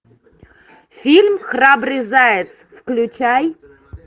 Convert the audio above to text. фильм храбрый заяц включай